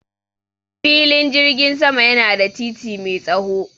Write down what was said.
Filin jirgin sama yana da titi mai tsaho.